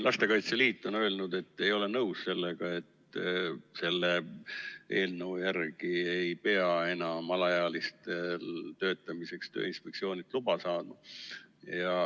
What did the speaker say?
Lastekaitse Liit on öelnud, et ei ole nõus sellega, et selle eelnõu järgi ei pea enam alaealised töötamiseks Tööinspektsioonilt luba saama.